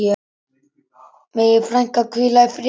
Megi frænka hvíla í friði.